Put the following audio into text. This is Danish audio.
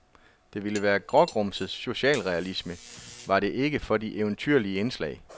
Det ville være grågrumset socialrealisme, var det ikke for de eventyrlige indslag.